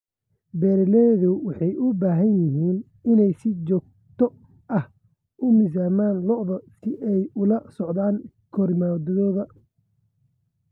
Beeraleydu waxay u baahan yihiin inay si joogto ah u miisaamaan lo'da si ay ula socdaan korriimadooda.